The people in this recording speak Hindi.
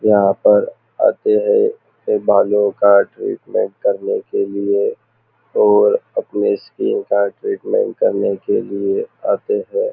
यहाँ पर आते है अपने बालों का ट्रीटमेंट करने के लिए और अपने स्किन का ट्रीटमेंट करने के लिए आते है।